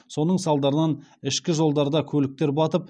соның салдарынан ішкі жолдарда көліктер батып